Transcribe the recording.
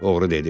Oğru dedi.